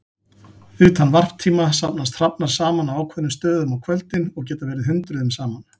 Utan varptíma safnast hrafnar saman á ákveðnum stöðum á kvöldin og geta verið hundruðum saman.